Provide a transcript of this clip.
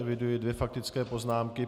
Eviduji dvě faktické poznámky.